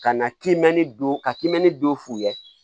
Ka na kiimɛni don ka kimɛnni don f'u ye